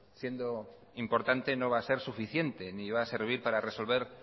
siendo importante no va a ser suficiente ni va a servir para resolver